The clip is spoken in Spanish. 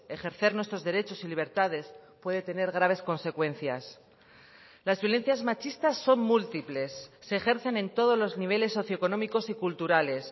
ejercer nuestros derechos y libertades puede tener graves consecuencias las violencias machistas son múltiples se ejercen en todos los niveles socioeconómicos y culturales